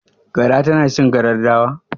Gara tana cin karar dawa?